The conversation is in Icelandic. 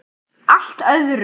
Allt öðrum.